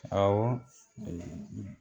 Awɔ